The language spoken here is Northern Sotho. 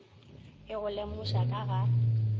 e go lemoša ka ga